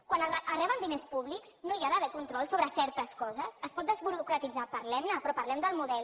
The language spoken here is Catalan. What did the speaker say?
quan es reben diners públics no hi ha d’haver control sobre certes coses es pot desburocratitzar parlem ne però parlem del model